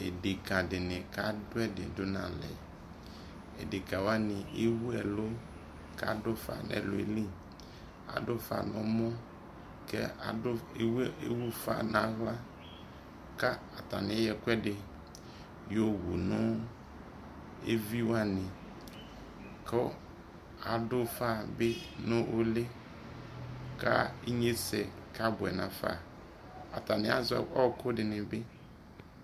edeka dini kado edi do no alɛ edeka wani ewu ɛlo ko ado ufa no ɛloɛ li, ado ufa no ɛmɔ ko ado, ewu ufa no ala ko atane ayɔ ɛkoɛdi yowu no evi wane ko ado ufa bi no uli ko inyese aboɛ no afa, atane azɛ ɔko dini bi